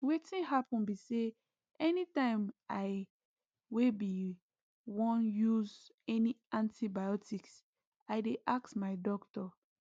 wetin happen be say anytime i wey be wan use any antibiotics i dey ask my doctor